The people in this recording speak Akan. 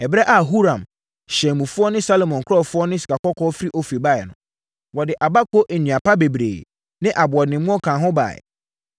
Ɛberɛ a Huram hyɛnmufoɔ ne Salomo nkurɔfoɔ de sikakɔkɔɔ firi Ofir baeɛ no, wɔde abako nnua pa bebree ne aboɔdemmoɔ kaa ho baeɛ.